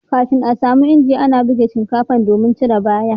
kafin a samu inji ana ana buga shinkafa domin cire bayan